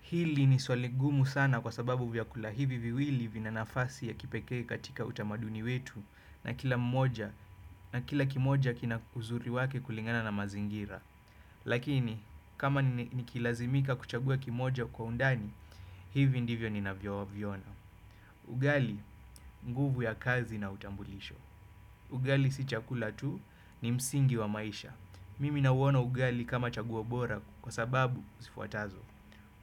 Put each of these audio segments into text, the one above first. Hili ni swali gumu sana kwa sababu vyakula hivi viwili vina nafasi ya kipekee katika utamaduni wetu na kila kimoja kina uzuri wake kulingana na mazingira. Lakini, kama nikilazimika kuchagua kimoja kwa undani, hivi ndivyo ninavyoviona. Ugali, nguvu ya kazi na utambulisho. Ugali si chakula tu ni msingi wa maisha. Mimi nawona ugali kama chaguo bora kwa sababu zifuatazo.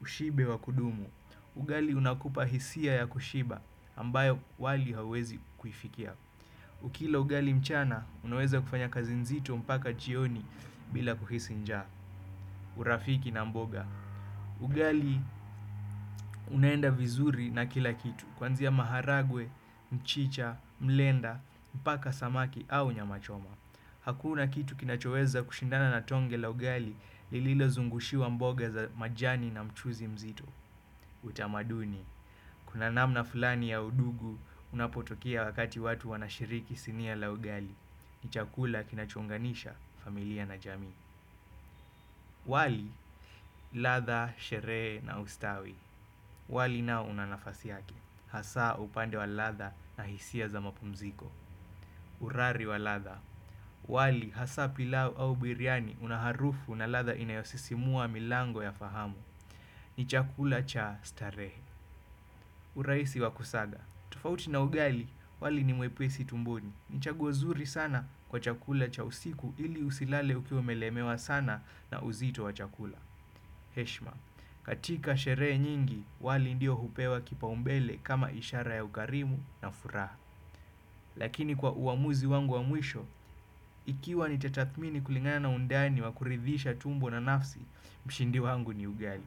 Ushibe wa kudumu. Ugali unakupa hisia ya kushiba ambayo wali hawezi kuifikia. Ukila ugali mchana, unaweza kufanya kazi nzito mpaka chioni bila kuhisi nja. Urafiki na mboga. Ugali unaenda vizuri na kila kitu. Kwanzia maharagwe, mchicha, mlenda, mpaka samaki au nyamachoma. Hakuna kitu kinachoweza kushindana na tonge la ugali lililo zungushiwa mboga za majani na mchuzi mzito. Utamaduni, kuna namna fulani ya udugu unapotokea wakati watu wanashiriki sinia la ugali. Ni chakula kinachounganisha familia na jami. Wali, latha, shere na ustawi. Wali nao unanafasi yake hasa upande wa latha na hisia za mapumziko. Urari wa latha. Wali, hasa pilau au biryani unaharufu na latha inayosisimua milango ya fahamu. Ni chakula cha stare. Uraisi wakusaga. Tufauti na ugali, wali ni muepesi tumboni, ni chagua zuri sana kwa chakula cha usiku ili usilale ukiwa umelemewa sana na uzito wa chakula. Heshima, katika sheree nyingi, wali ndio hupewa kipa umbele kama ishara ya ukarimu na furaha. Lakini kwa uamuzi wangu wa mwisho, ikiwa nitathmini kulingana undani wa kuridhisha tumbo na nafsi, mshindi wangu ni ugali.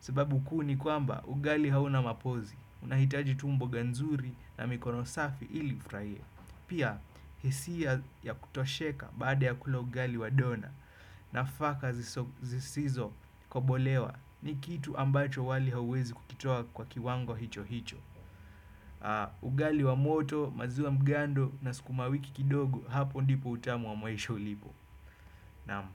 Sababu kuu ni kwamba ugali hauna mapozi, unahitaji tu mboga nzuri na mikono safi ili ufurahie. Pia, hisia ya kutosheka baada ya kula ugali wa dona nafaka zisizo kobolewa ni kitu ambacho wali hauwezi kukitoa kwa kiwango hicho hicho. Ugali wa moto, maziwa mgando na sukumawiki kidogo hapo ndipo utamu wa maisha ulipo. Naam.